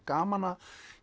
gaman að